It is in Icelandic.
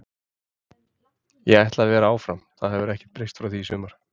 Ég ætla að vera áfram, þetta hefur ekkert breyst frá því í sumar.